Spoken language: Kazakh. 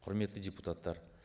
құрметті депутаттар